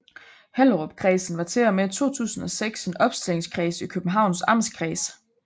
Hellerupkredsen var til og med 2006 en opstillingskreds i Københavns Amtskreds